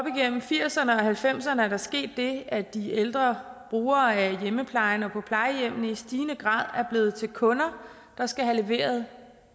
nitten firserne og nitten halvfemserne er der sket det at de ældre brugere af hjemmeplejen og på plejehjemmene i stigende grad er blevet til kunder der skal have leveret